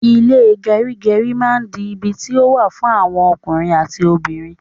Ile gerigeri ma di ibi ti o wa fun awon okunrin ati obinrin